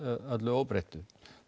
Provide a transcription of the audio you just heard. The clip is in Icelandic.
öllu óbreyttu